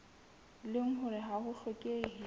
leng hore ha ho hlokehe